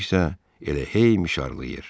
O isə elə hey mişarlayır.